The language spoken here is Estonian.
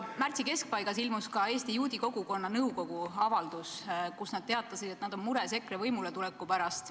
Märtsi keskpaigas ilmus ka Eesti Juudi Kogukonna nõukogu avaldus, kus nad teatasid, et nad on mures EKRE võimuletuleku pärast.